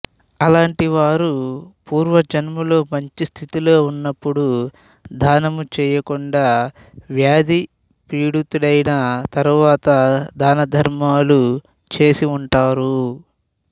అలాంటి వారు పూర్వజన్మలో మంచిస్థితిలో ఉన్నప్పుడు దానము చేయకుండా వ్యాధిపీడితుడైన తరువాత దానధర్మములు చేసి ఉంటారు